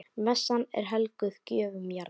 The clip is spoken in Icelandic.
Messan er helguð gjöfum jarðar.